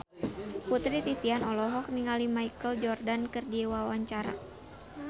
Putri Titian olohok ningali Michael Jordan keur diwawancara